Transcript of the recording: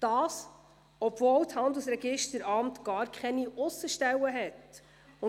Dies, obwohl es gar keine Aussenstellen betreibt.